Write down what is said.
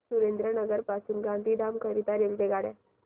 सुरेंद्रनगर पासून गांधीधाम करीता रेल्वेगाड्या